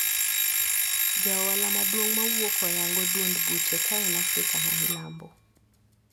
Jaohala maduong` mawuok oyango duond buche kaen afrika mamilambo.